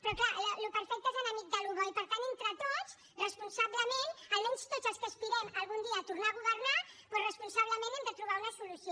però clar el que és perfecte és enemic del que és bo i per tant entre tots responsablement almenys tots els que aspirem algun dia a tornar a governar hi hem de trobar una solució